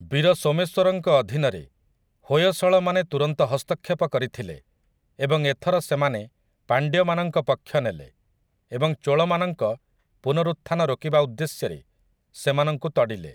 ବୀର ସୋମେଶ୍ୱରଙ୍କ ଅଧୀନରେ, ହୋୟସଳମାନେ ତୁରନ୍ତ ହସ୍ତକ୍ଷେପ କରିଥିଲେ, ଏବଂ ଏଥର ସେମାନେ ପାଣ୍ଡ୍ୟମାନଙ୍କ ପକ୍ଷ ନେଲେ ଏବଂ ଚୋଳମାନଙ୍କ ପୁନରୁତ୍ଥାନ ରୋକିବା ଉଦ୍ଦେଶ୍ୟରେ ସେମାନଙ୍କୁ ତଡ଼ିଲେ ।